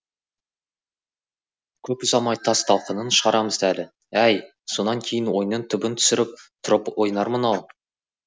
көп ұзамай тас талқанын шығарамыз әлі әй сонан кейін ойынның түбін түсіріп тұрып ойнармын ау